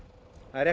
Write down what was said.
það er